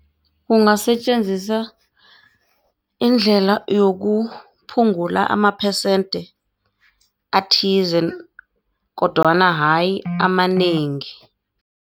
Kungasetjenziswa indlela yokuphungula amaphesente athize kodwana hayi amanengi.